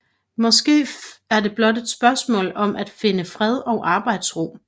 Måske er det blot et spørgsmål om at finde fred og arbejdsro